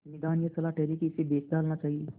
निदान यह सलाह ठहरी कि इसे बेच डालना चाहिए